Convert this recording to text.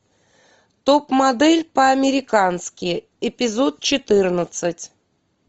топ модель по американски эпизод четырнадцать